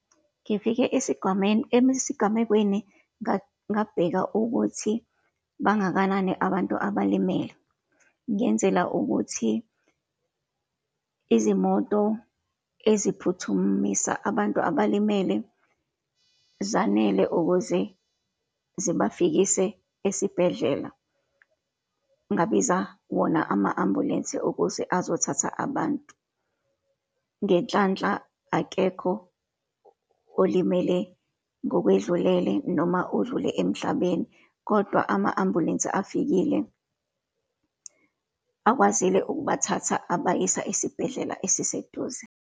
Ngifike esigwameni, esigamekweni ngabheka ukuthi bangakanani abantu abalimele, ngenzela ukuthi izimoto eziphuthumisa abantu abalimele zanele ukuze zibafikise esibhedlela. Ngabiza wona ama-ambulensi okuze azothatha abantu. Ngenhlanhla, akekho olimele ngokwedlulele, noma odlule emhlabeni, kodwa ama-ambulensi afikile, akwazile ukubathatha, abayisa esibhedlela esiseduze.